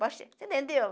Você entendeu?